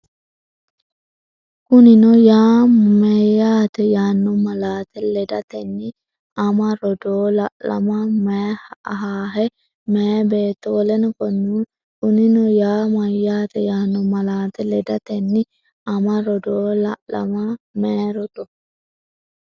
Kunino yaa meyaata yaanno malaate ledatenni ama, rodoo, la’lama, mey- ahaahe, meyaa beetto w k l Kunino yaa meyaata yaanno malaate ledatenni ama, rodoo, la’lama, mey-.